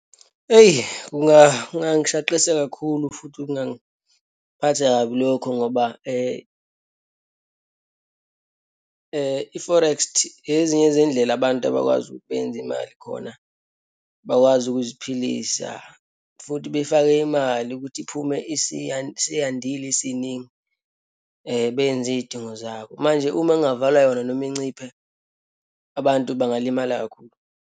Eyi, kungangishaqisa kakhulu, futhi kungangiphatha kabi lokho ngoba i-forekst ezinye zeyindlela abantu abakwazi ukuthi beyenze imali khona, bakwazi ukuziphilisa futhi befake imali ukuthi iphume isiyandile, isiningi, benze iyidingo zabo. Manje uma kungavalwa yona noma inciphe, abantu bangalimala kakhulu.